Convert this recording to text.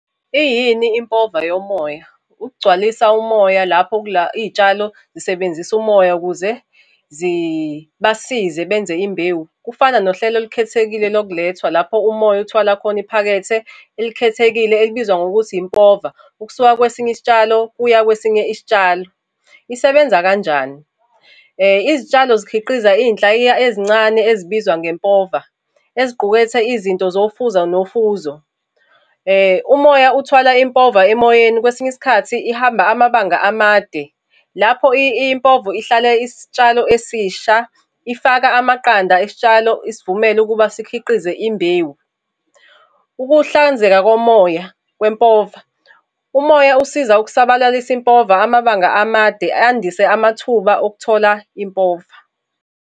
Iyini impova yomoya? Ukugcwalisa umoya lapho kula iy'tshalo zisebenzisa umoya ukuze zibasize benze imbewu. Kufana nohlelo olukhethekile lokulethwa lapho umoya uthwala khona iphakethe elikhethekile elibizwa ngokuthi Impova, ukusuka kwesinye isitshalo kuya kwesinye isitshalo. Isebenza kanjani? Izitshalo zikhiqiza iy'nhlayiya ezincane ezibizwa ngempova, eziqukethe izinto zofuzo nofuzo. Umoya uthwala impova emoyeni kwesinye isikhathi ihamba amabanga amade. Lapho impovo ihlala isitshalo esisha, ifaka amaqanda isitshalo isivumela ukuba sikhiqize imbewu. Ukuhlanzeka komoya kwempova, umoya usiza ukusabalalisa impova amabanga amade, andise amathuba okuthola impova.